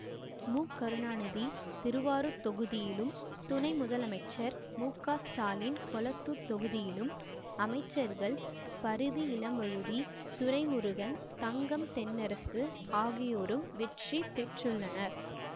மு கருணாநிதி திருவாரூர் தொகுதியிலும் துணை முதலமைச்சர் முக ஸ்டாலின் கொளத்தூர் தொகுதியிலும் அமைச்சர்கள் பரிதி இளம்வழுதி துரைமுருகன் தங்கம் தென்னரசு ஆகியோரும் வெற்றி பெற்றுள்ளனர்